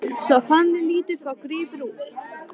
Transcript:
Svo þannig lítur þá gripurinn út!